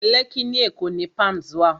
Lẹ́kkí ní Èkó ni Palms wà